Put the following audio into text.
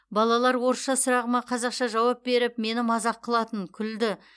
балалар орысша сұрағыма қазақша жауап беріп мені мазақ қылатын күлді